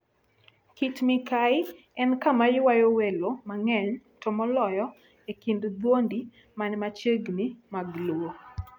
Kit-Mikayi en kama ywayo welo mang'eny, to moloyo e kind dhoudi man machiegni mag Luo.